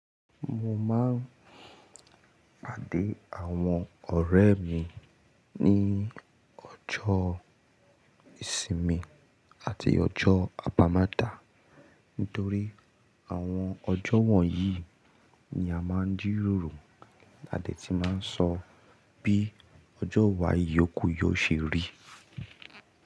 Mo máa ń pàdé àwọn ọ̀rẹ́ mi ní ọjọ́ ìsinmi àti ọjọ́ àbámẹ́tà nítorí àwọn ọjọ́ wọ̀nyí ni a máa ń jírórò. A dẹ̀ ti máa ń sọ bí ọjọ́ wá yòókù yóò ṣe rí.